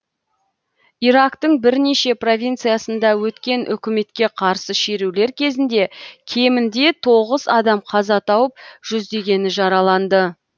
ирактың бірнеше провинциясында өткен үкіметке қарсы шерулер кезінде кемінде тоғыз адам қаза тауып жүздегені жараланды